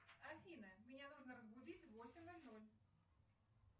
афина меня нужно разбудить в восемь ноль ноль